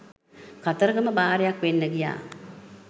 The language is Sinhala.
කතරගම බාරයක් වෙන්න ගියා.